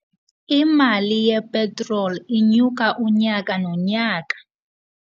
Imali yepetroli inyuka unyaka nonyaka.